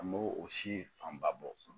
An m'o o si fanba bɔ